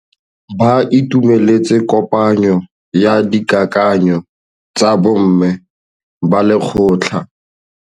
Ba itumeletse kôpanyo ya dikakanyô tsa bo mme ba lekgotla.